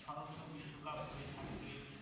স্মরণীয় বিশ্বকাপ হয়ে থাকবে